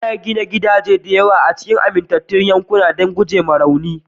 Ana gina gidaje da yawa a cikin amintattun yankuna don gujewa rauni